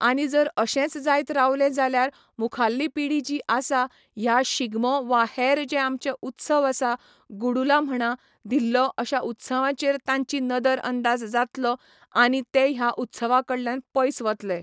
आनी जर अशेंच जायत रावले जाल्यार मुखाल्ली पिढी जी आसा ह्या शिगमो वा हेर जे आमचे उत्सव आसा गुडूलां म्हणा धिल्लो अश्यां उत्सवांचेर तांची नदर अंदाज जातलो आनी ते ह्या उत्सवा कडल्यान पयस वतलें